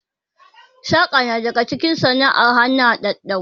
Saƙa na daga cikin sana'ar hannu daɗaɗɗu